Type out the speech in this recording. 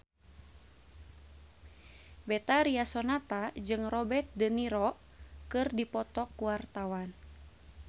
Betharia Sonata jeung Robert de Niro keur dipoto ku wartawan